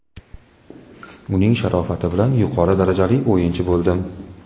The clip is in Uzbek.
Uning sharofati bilan yuqori darajali o‘yinchi bo‘ldim.